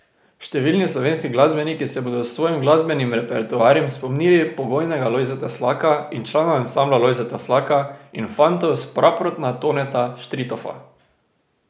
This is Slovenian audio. Številni slovenski glasbeniki se bodo s svojim glasbenim repertoarjem spomnili pokojnega Lojzeta Slaka in člana Ansambla Lojzeta Slaka in Fantov s Praprotna Toneta Štritofa.